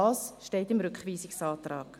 Auch dies steht im Rückweisungsantrag.